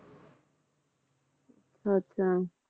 ਅੱਛਾ